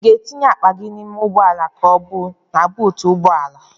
Ị ga-etinye akpa gị n'ime ụgbọala ka ọ bụ na buutu ụgbọala?